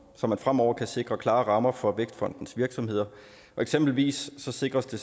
så man fremover kan sikre klare rammer for vækstfondens virksomheder eksempelvis sikres det